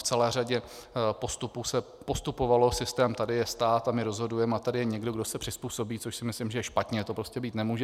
V celé řadě postupů se postupovalo systémem tady je stát a my rozhodujeme a tady je někdo, kdo se přizpůsobí, což si myslím, že je špatně, to prostě být nemůže.